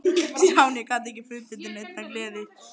Stjáni gat ekki fundið til neinnar gleði.